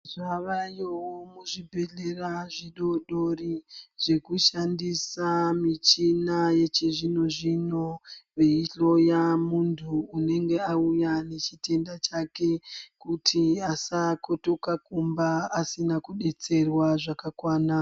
Zvavayowo muzvibhedhlera zvidoodori zvekushandisa, michina yechizvino-zvino veihloya muntu unenge auya nechitenda chake kuti asakitoka kumba asina kudetserwa zvakakwana.